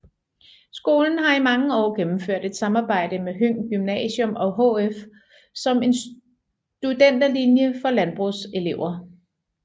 Skolen har i mange år gennemført et samarbejde med Høng Gymnasium og HF om en studenterlinje for landbrugselever